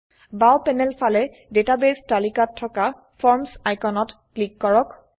বাও প্যানেল ফালে ডাটাবেস তালিকাত থকা ফৰ্মছ আইকনত ক্লিক কৰক